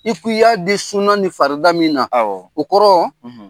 I k' i y'a di sunan ni farida min na awɔɔ o kɔrɔ